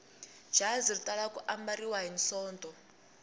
jazi ri tala ku ambariwa hi sonto